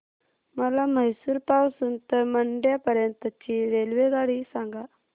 मला म्हैसूर पासून तर मंड्या पर्यंत ची रेल्वेगाडी सांगा